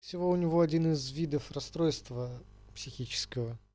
всего у него один из видов расстройства психического